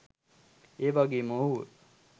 ඒවගේම ඔහුව